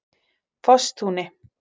Fossatúni